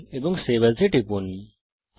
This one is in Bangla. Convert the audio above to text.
ফাইল এবং সেভ As এ টিপুন